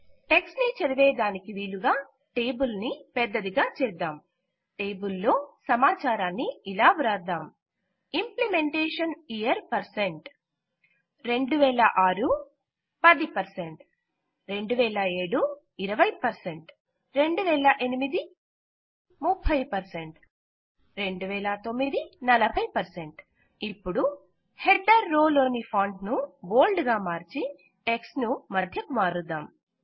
text చదువుటకు వీలుగా table ను పెద్దదిగా చేద్దాం టేబుల్ లో సమాచారాన్ని ఇలా వ్రాద్దాం ఇంప్లిమెంటేషన్ ఇయర్ 2006 10 2007 20 2008 30 2009 40 ఇపుడు హెడర్ రో లోని ఫాంట్ ను బోల్డ్ గా మార్చి టెక్ట్స్ ను మధ్యకు మారుద్దాం